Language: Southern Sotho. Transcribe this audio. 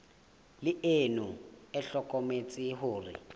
le ona o hlokometse hore